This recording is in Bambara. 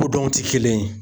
Kodɔnw ti kelen ye.